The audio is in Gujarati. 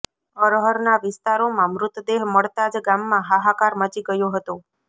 અરહરના વિસ્તારોમાં મૃતદેહ મળતા જ ગામમાં હાહાકાર મચી ગયો હતો